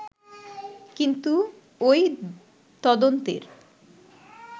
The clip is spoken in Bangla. কিন্তু ওই তদন্তের